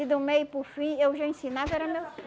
E do meio para o fim, eu já ensinava, era meu